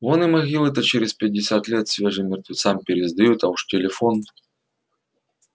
вон и могилы-то через пятьдесят лет свежим мертвецам пересдают а уж телефон